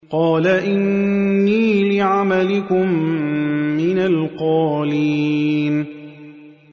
قَالَ إِنِّي لِعَمَلِكُم مِّنَ الْقَالِينَ